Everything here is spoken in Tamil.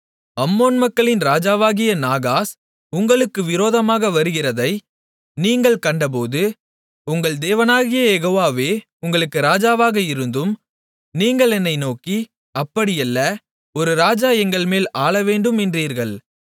அம்மோன் மக்களின் ராஜாவாகிய நாகாஸ் உங்களுக்கு விரோதமாக வருகிறதை நீங்கள் கண்டபோது உங்கள் தேவனாகிய யெகோவாவே உங்களுக்கு ராஜாவாக இருந்தும் நீங்கள் என்னை நோக்கி அப்படியல்ல ஒரு ராஜா எங்கள்மேல் ஆளவேண்டும் என்றீர்கள்